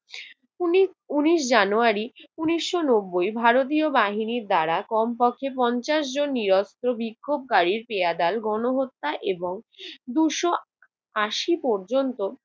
উনিশ~ উনিশ জানুয়ারি উনিশশো নব্বই ভারতীয় বাহিনীর দ্বারা কমপক্ষে পঞ্চাশ জন নিরস্ত্র বিক্ষোভকারী পেয়াদার গণহত্যা এবং দুশ আশি পর্যন্ত